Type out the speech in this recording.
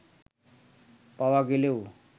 পাওয়া গেলেও